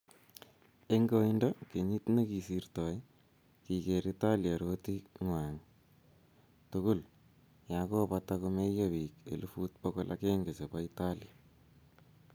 eng' koindo kenyit ne kosirtoi, kiker Italia rotie ng'wang' tugul ya kobata ko meiyo biik elfut bokol agenge chebo italia